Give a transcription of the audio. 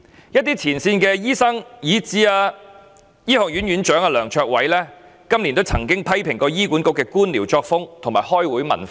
有前線醫生，以至香港大學李嘉誠醫學院院長梁卓偉教授今年亦曾批評醫管局的官僚作風及開會文化。